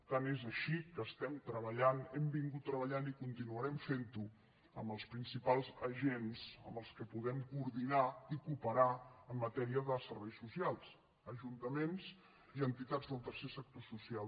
tant és així que treballem hem treballat i continuarem fent ho amb els principals agents amb què podem coordinar i cooperar en matèria de serveis socials ajuntaments i entitats del tercer sector social